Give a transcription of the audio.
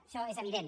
això és evident